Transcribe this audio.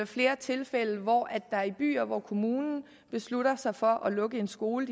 flere tilfælde hvor der i byer hvor kommunen beslutter sig for at lukke en skole